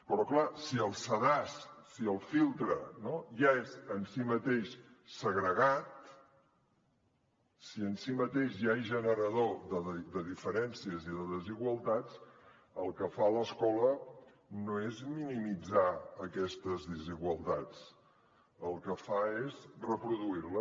però clar si el sedàs si el filtre no ja és en si mateix segregat si en si mateix ja és generador de diferències i de desigualtats el que fa l’escola no és minimitzar aquestes desigualtats el que fa és reproduir les